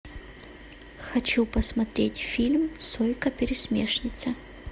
хочу посмотреть фильм сойка пересмешница